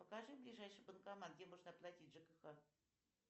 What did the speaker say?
покажи ближайший банкомат где можно оплатить жкх